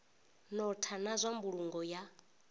notha na zwa mbulungo ya